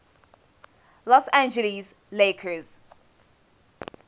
los angeles lakers